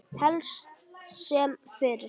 Helst sem fyrst.